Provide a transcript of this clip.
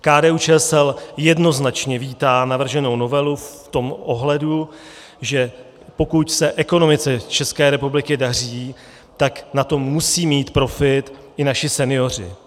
KDU-ČSL jednoznačně vítá navrženou novelu v tom ohledu, že pokud se ekonomice České republiky daří, tak na tom musí mít profit i naši senioři.